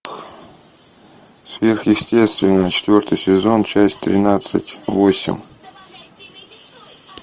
сверхъестественное четвертый сезон часть тринадцать восемь